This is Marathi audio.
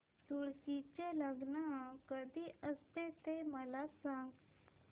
तुळशी चे लग्न कधी असते ते मला सांग